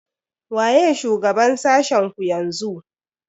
Waye shugaban sashen ku yanzu?